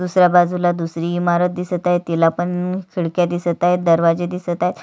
दुसऱ्या बाजूला दुसरी इमारत दिसत दिसत आहे तिला पण खिडक्या दिसत आहेत दरवाजे दिसत आहेत.